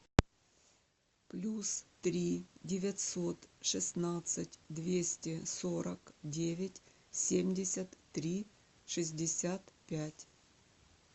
плюс три девятьсот шестнадцать двести сорок девять семьдесят три шестьдесят пять